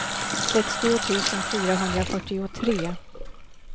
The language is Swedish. sextio tusen fyrahundrafyrtiotre